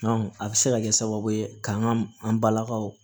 a bɛ se ka kɛ sababu ye k'an ka an balakaw